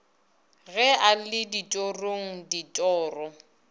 ge a le ditorong ditoro